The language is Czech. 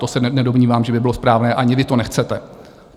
To se nedomnívám, že by bylo správné, ani vy to nechcete.